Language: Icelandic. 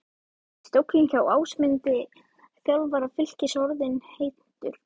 Er stóllinn hjá Ásmundi, þjálfara Fylkis orðinn heitur?